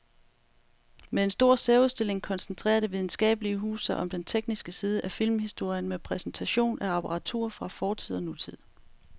Med en stor særudstilling koncentrerer det videnskabelige hus sig om den tekniske side af filmhistorien med præsentation af apparatur fra fortid og nutid.